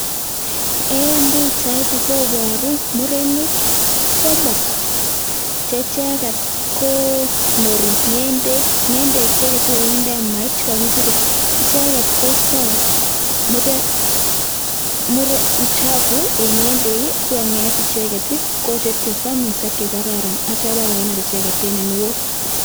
Eng Pichaini kobaru murenik somok chekonori ngendeeek murenik chuu koistai (uchafu)Eng ngendeek